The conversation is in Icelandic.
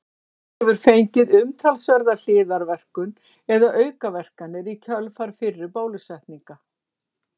Barnið hefur fengið umtalsverða hliðarverkun eða aukaverkanir í kjölfar fyrri bólusetninga.